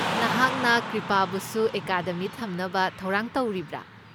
ꯅꯍꯥꯛꯅ ꯀ꯭ꯔꯤꯄꯥꯕꯨꯁꯨ ꯑꯦꯀꯥꯗꯃꯤꯗ ꯊꯝꯅꯕ ꯊꯧꯔꯥꯡ ꯇꯧꯔꯤꯕ꯭ꯔꯥ?